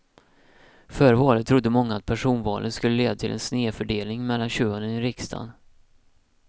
Före valet trodde många att personvalet skulle leda till en snedfördelning mellan könen i riksdagen.